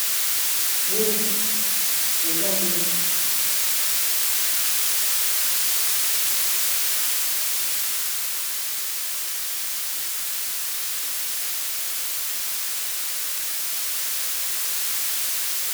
Buku, eza buku .